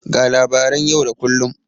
Ga labaran yau da kullun.